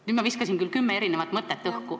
Nüüd ma viskasin küll õhku kümme erinevat mõtet.